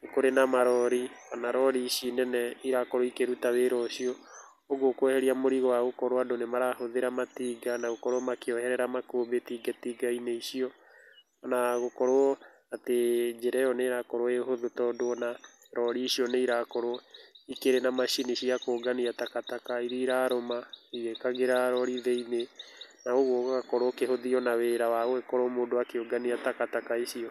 nĩ kũrĩ na marori kana rori ici nene ĩrakorwo ĩkĩrũta wĩra ũcio ũguo kweherĩa mũrĩgo wa andũ magĩkorwo nĩmarahũthĩra na gũkorwo makĩoherera makũmbĩ itĩnga-inĩ icio, na gũkorwo atĩ njĩra ĩyo nĩ ĩrakorwo ĩhũthũ tondũ ona rori icio nĩ irakorwo ĩna macini cia kũngania takataka irĩa irarũma igĩkagĩra rori thĩ-inĩ na ũgũo ũgakorowo ona ũkĩhũthia wĩra wa gũkorwo mũndũ akĩrũtania takataka icio.